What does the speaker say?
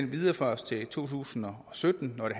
videreføres til to tusind og sytten hvad